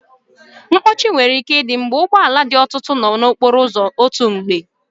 Mkpọchi nwere ike ịdị mgbe ụgbọ ala dị ọtụtụ n'okporo ụzọ n'otu mgbe